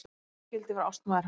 Ég skyldi verða ástmaður hans!